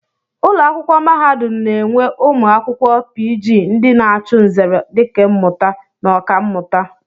Ụlọakwụkwọ mahadum na-enwe ụmụ akwụkwọ pii jii ndị na-achụ nzere dikemmụta na Ọkammụta